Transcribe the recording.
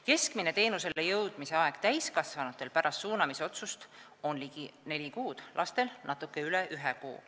Keskmine teenusele jõudmise aeg täiskasvanutel pärast suunamisotsust on ligi neli kuud, lastel natuke üle ühe kuu.